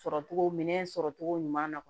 Sɔrɔcogo minɛn sɔrɔ cogo ɲuman na